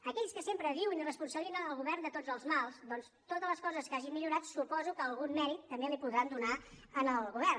aquells que sempre diuen i responsabilitzen el govern de tots els mals doncs de totes les coses que hagin millorat suposo que algun mèrit també li podran donar al govern